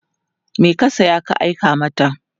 me ka saya ka Kai mata?